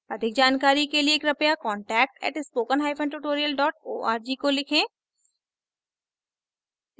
अधिक जानकारी के लिए कृपया contact @spokentutorial org को लिखें